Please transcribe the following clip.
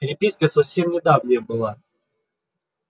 переписка совсем недавняя была